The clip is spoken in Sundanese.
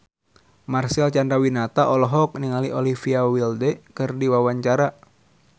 Marcel Chandrawinata olohok ningali Olivia Wilde keur diwawancara